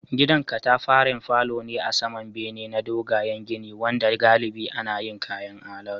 Gidan katafaren falo ne a saman bene na dogayen gini wanda galibi ana yin kayan alatu